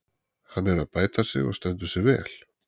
Hann er að bæta sig og stendur sig vel.